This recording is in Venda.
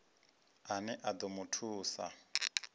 ane a ḓo mu thusa